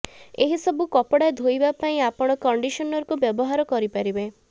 ଏହିସବୁ କପଡା ଧୋଇବା ପାଇଁ ଆପଣ କଣ୍ଡିସନରକୁ ବ୍ୟବହାର କରିପାରିବେ